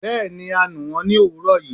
Bẹẹni a nú wón ni owúrò yíí